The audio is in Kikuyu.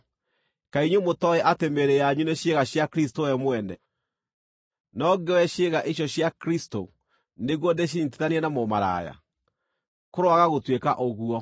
Kaĩ inyuĩ mũtooĩ atĩ mĩĩrĩ yanyu nĩ ciĩga cia Kristũ we mwene? Nĩ ũndũ ũcio, no ngĩoye ciĩga icio cia Kristũ nĩguo ndĩcinyiitithanie na mũmaraya? Kũroaga gũtuĩka ũguo!